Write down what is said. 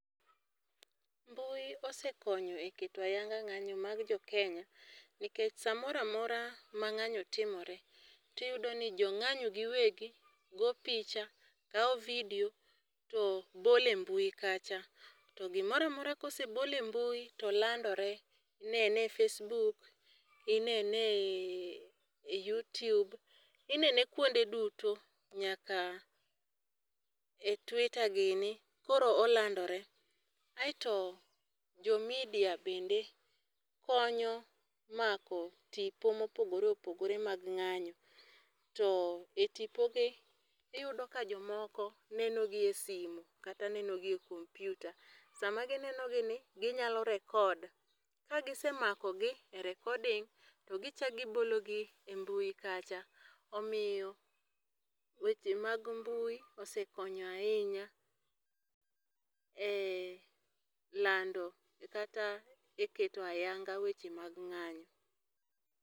Mbui osekonyo e keto ayanga ngányo mag jo Kenya. Nikech saa moro amora ma ngányo timore, to iyudo ni jongányo giwegi, goyo picha, kao video to bolo e mbui kacha. To gimoro amora ka osebol e mbuil to landore, inene e facebook, inene e Youtube, inene kuonde duto, nyaka e twitter gini, koro olandore. Aeto, jo media bende, konyo mako tipo mopogore opogore, mag ngányo. To e tipogi, iyudo ka jomoko neno gi e simu kata nenogi e computer. Sama gineno gi ni, ginyalo record, ka gisemakogi e recording to gichak gibologi ei mbui kacha, omiyo weche mag mbui osekonyo ahinya e lando kata e keto ayanga weche mag ngányo.